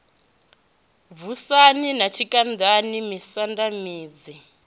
vhushani na tshikandani misanda minzhi